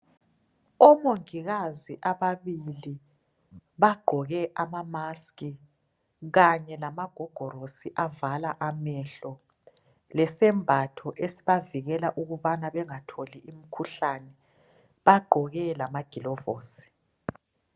Omongikazi ababili bagqoke amamask kanye lamagogorosi avala amehlo lesembatho esibavikela ukubana bengatholi imikhuhlane, bagqoke lamagilovosi.